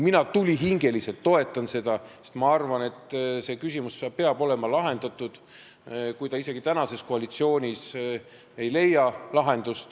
Mina tulihingeliselt toetan seda, sest ma arvan, et see küsimus peab saama lahendatud, isegi kui see tänases koalitsioonis lahendust ei leia.